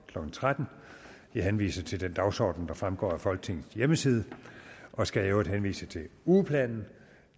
klokken tretten jeg henviser til den dagsorden der fremgår af folketingets hjemmeside og skal i øvrigt henvise til ugeplanen